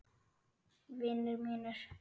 Vinir mínir.